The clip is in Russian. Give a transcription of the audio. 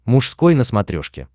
мужской на смотрешке